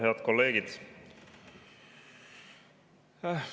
Head kolleegid!